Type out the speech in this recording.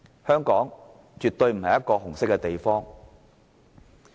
香港絕不是一個"紅色"的地方。